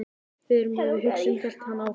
Við erum það sem við hugsum- hélt hann áfram.